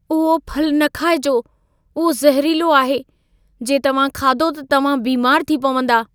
उहो फलु न खाइजो। उहो ज़हरीलो आहे। जे तव्हां खाधो त तव्हां बीमार थी पवंदा।